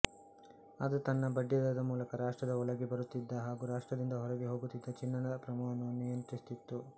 ಅದು ತನ್ನ ಬಡ್ಡಿದರದ ಮೂಲಕ ರಾಷ್ಟ್ರದ ಒಳಕ್ಕೆ ಬರುತ್ತಿದ್ದ ಹಾಗೂ ರಾಷ್ಟ್ರದಿಂದ ಹೊರಕ್ಕೆ ಹೋಗುತ್ತಿದ್ದ ಚಿನ್ನದ ಪ್ರಮಾಣವನ್ನು ನಿಯಂತ್ರಿಸುತ್ತಿತ್ತು